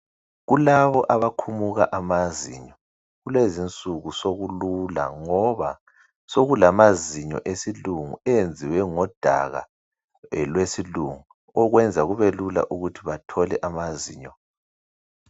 kulaba abakhumuka amazinyo kulezo insuku sokulula ngoba sokulamazinyo wesilungu enziwe ngodaka lwesilungu okwenza kubelula ukuthi bathole amazinyo